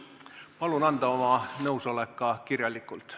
Palun anda oma nõusolek ka kirjalikult.